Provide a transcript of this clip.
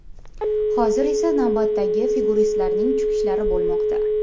Hozir esa navbatdagi figuristlarning chiqishlari bo‘lmoqda.